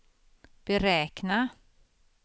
beräkna